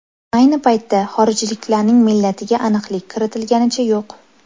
Ayni paytda xorijliklarning millatiga aniqlik kiritilganicha yo‘q.